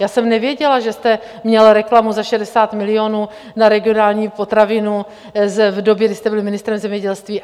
Já jsem nevěděla, že jste měl reklamu za 60 milionů na Regionální potravinu v době, kdy jste byl ministrem zemědělství.